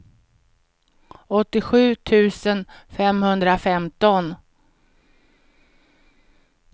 åttiosju tusen femhundrafemton